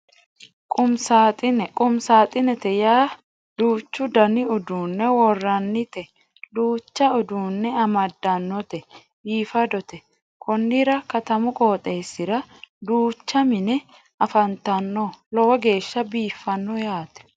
Quumi saaxine quumi saaxinete yaa duuchu Dani uduune worannite duucha uduunne amadanote biifadote konnira katamu qooxesira duucha mine afantano lowo geesha biifanno yaate